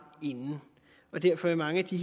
inden derfor vil mange af de